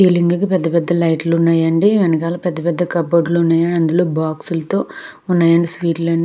ఈ లింగ కి పెద్దపెద్ద లైట్లు ఉన్నాయండి వెనకాల పెద్ద పెద్ద కబోర్డ్ లు బాక్స్ లతో ఉన్నాయాండి స్వీట్ లు అన్ని.